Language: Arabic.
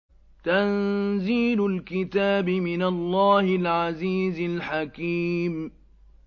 تَنزِيلُ الْكِتَابِ مِنَ اللَّهِ الْعَزِيزِ الْحَكِيمِ